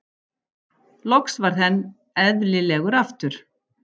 Loks varð henn elðilegur aftur.